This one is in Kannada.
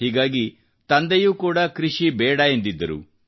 ಹೀಗಾಗಿ ತಂದೆಯೂ ಕೂಡ ಕೃಷಿ ಬೇಡ ಎಂದಿದ್ದರು